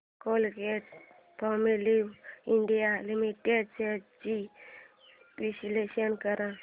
Colgate Palmolive India limited shares चे विश्लेषण कर